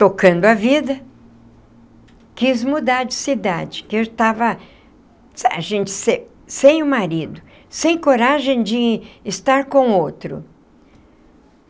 tocando a vida, quis mudar de cidade, porque eu estava... ah gente sem sem o marido, sem coragem de estar com outro.